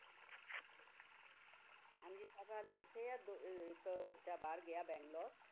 ਹਾਂਜੀ ਸਭ ਹਾਲੇ ਇੱਥੇ ਹੈ ਦੋ ਅਹ ਇੱਕ ਬੱਚਾ ਬਾਹਰ ਗਿਆ ਬੰਗਲੋਰ